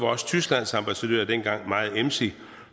også tysklands ambassadør dengang meget emsig